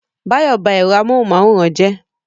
Báyọ̀ ba ẹ̀rọ amóhunmáwòrán jẹ́